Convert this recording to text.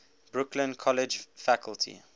brooklyn college faculty